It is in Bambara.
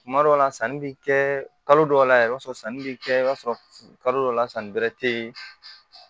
Tuma dɔw la sanni bɛ kɛ kalo dɔw la yɛrɛ i b'a sɔrɔ sanni bɛ kɛ i b'a sɔrɔ kalo dɔw la sanni bɛrɛ tɛ yen